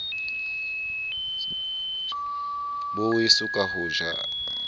bo weso ka ho ja